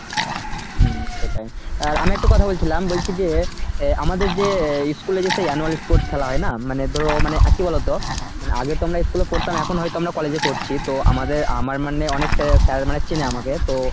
হম সেটাই। আর আমি একটা কথা বলছিলাম বলছি যে অ্যাঁ আমাদের যে অ্যাঁ school এ যে annual sports খেলা হয় না মানে ধরো মানে আর কি বলতো মানে আগে তো আমরা school এ পড়তাম এখন হয়তো আমরা college এ পড়ছি তো আমাদের আমার মানে অনেক sir sir মানে চেনে আমাকে তো